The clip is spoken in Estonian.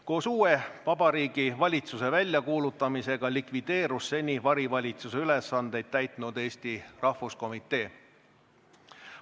Koos uue vabariigi valitsuse väljakuulutamisega likvideerus seni varivalitsuse ülesandeid täitnud Eesti Rahvuskomitee.